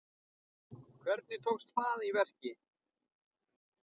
Hvernig tókst það í verki?